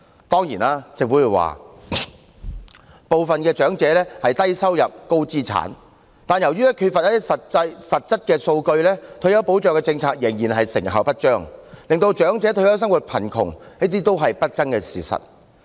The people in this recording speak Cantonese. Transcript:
當然，政府會說部分長者是低收入、高資產，但由於缺乏實質數據，退休保障政策仍然成效不彰，令長者退休生活貧窮亦是不爭的事實。